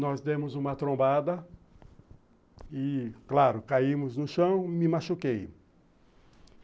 nós demos uma trombada e, claro, caímos no chão e me machuquei.